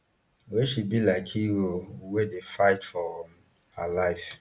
wey she be like hero wey dey fight for um her life